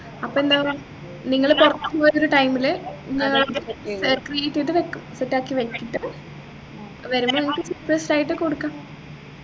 അപ്പൊ എന്താന്ന് നിങ്ങള് പുറത്തു പോകുന്ന ഒരു time ലു ഏർ create ചെയ്തവെക്കും set ആക്കി വെച്ചിട്ട് വരുമ്പോ നിങ്ങക്ക് surprised ആയിട്ട് കൊടുക്കാം